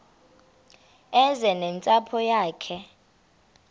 eze nentsapho yayo